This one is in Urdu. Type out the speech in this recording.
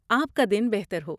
آپ کا دن بہتر ہو۔